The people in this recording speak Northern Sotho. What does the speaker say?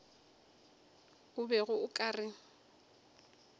o bego o ka re